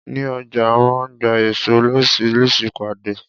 Ní ọjà a máa ń gba èso loríṣiríṣi pàdé.